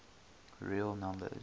real numbers